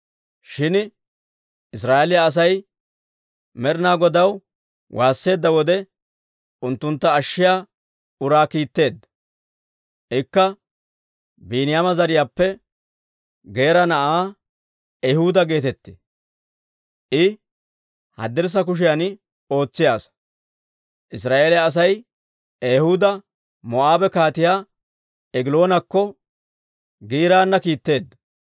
Shin Israa'eeliyaa Asay Med'inaa Godaw waasseedda wode, unttuntta ashshiyaa uraa kiitteedda; ikka Biiniyaama zariyaappe Geera na'aa Ehuuda geetettee; I haddirssa kushiyan ootsiyaa asaa. Israa'eeliyaa Asay Ehuuda Moo'aabe Kaatiyaa Egiloonakko giiraana kiitteedda.